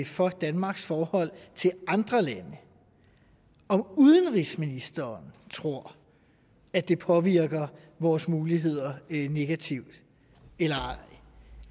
for danmarks forhold til andre lande om udenrigsministeren tror at det påvirker vores muligheder negativt eller ej